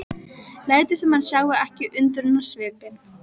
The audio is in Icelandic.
Lætur sem hann sjái ekki undrunarsvipinn.